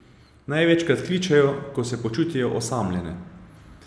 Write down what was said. Največkrat kličejo, ko se počutijo osamljene.